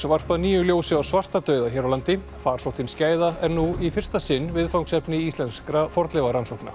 varpað nýju ljósi á svartadauða hér á landi farsóttin skæða er nú í fyrsta sinn viðfangsefni íslenskra fornleifarannsókna